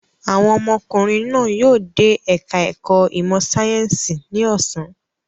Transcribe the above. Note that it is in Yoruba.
Àwọn ọmọkùnrin náà yóò dé ẹ̀ka-ẹ̀kọ́ ìmọ̀-sáyẹ́ńsì ní ọ̀sán.